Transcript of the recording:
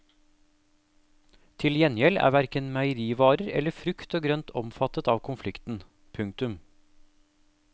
Til gjengjeld er hverken meierivarer eller frukt og grønt omfattet av konflikten. punktum